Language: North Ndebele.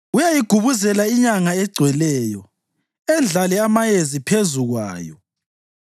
Uyayigubuzela inyanga egcweleyo, endlale amayezi phezu kwayo.